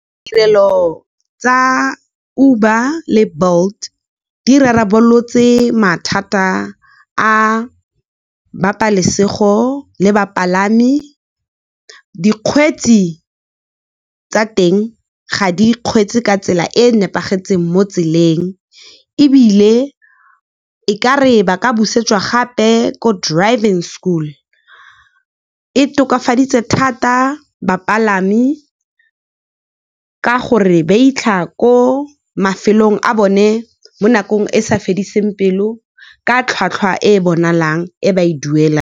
Tirelo tsa Uber le Bolt di rarabolotse mathata a ba pabalesego le bapalami. tsa teng ga ba kgweetse ka tsela e e nepagetseng mo tseleng, ebile e kare ba ka busetswa gape ko driving school. E tokafatsaditse thata bapalami, ka gore ba fitlha ko mafelong a bone mo nakong e sa fediseng pelo, ka tlhwatlhwa e e bonalang e ba e duelang.